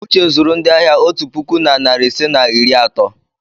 uche zuru ndị ahịa otu puku na narị ise na iri atọ.